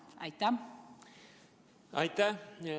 Aitäh!